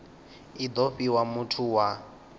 i do fhiwa muthu wa